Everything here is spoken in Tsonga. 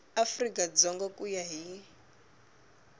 afrika dzonga ku ya hi